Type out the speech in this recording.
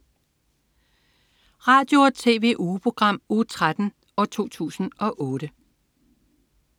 Radio- og TV-ugeprogram Uge 13, 2008